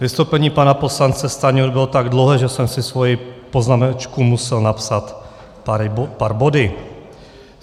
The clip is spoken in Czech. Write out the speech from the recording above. Vystoupení pana poslance Stanjury bylo tak dlouhé, že jsem si svoji poznámečku musel napsat pár body.